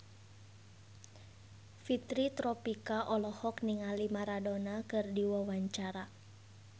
Fitri Tropika olohok ningali Maradona keur diwawancara